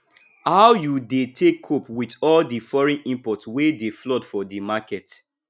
how you dey take cope with all di foreign imports wey dey flood for di market